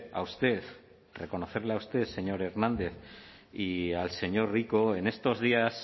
a usted reconocerle a usted señor hernández y al señor rico en estos días